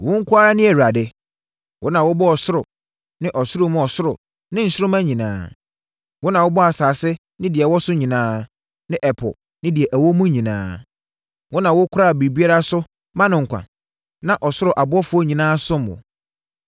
Wo nko ara ne Awurade. Wo na wobɔɔ ɔsoro ne ɔsoro mu ɔsoro ne nsoromma nyinaa. Wo na wobɔɔ asase ne deɛ ɛwɔ so nyinaa ne ɛpo ne deɛ ɛwɔ mu nyinaa. Wo na wokora biribiara so ma no nkwa, na ɔsoro abɔfoɔ nyinaa som wo.